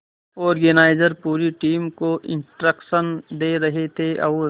organiser पूरी team को instruction दे रहे थे और